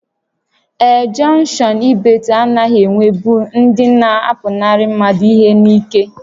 Ee, jọnkshọn Ibeeto anaghị enwebụ ndị na-apụnarị mmadụ ihe n'ike